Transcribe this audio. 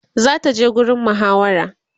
zata je gurin muhawara